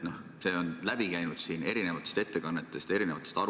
See on läbi käinud eri ettekannetest ja aruteludest.